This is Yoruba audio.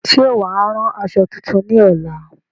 Ṣé wàá rán aṣọ tuntun ní ọ̀la?